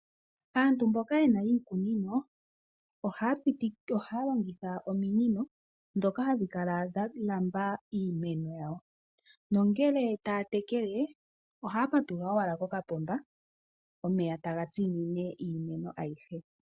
Aantu mboka yena iikunino ohaya longitha ominino dhoka hadhi kala dha lamba iimeno yawo. Nongele taya tekele, ohaya patulula owala kokapomba, omeya taga tsinine iimeno ayihe.